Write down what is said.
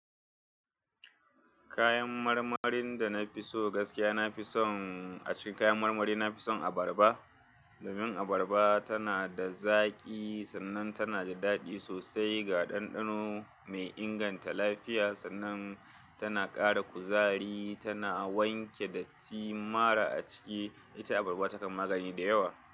Kayan marmarin da na fi so gaskiya, na fi son a cikin kayan marmari, na fi son abarba. Domin abarba tana da zaƙi sannan tana da daɗi sosai ga ɗanɗano, mai inganta lafiya sannan tana ƙara kuzari, tana wanke dattin mara a ciki. Ita abarba takan magani da yawa.